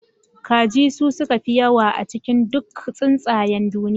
Kaji su suka fi yawa a cikin duk tsuntsayen duniya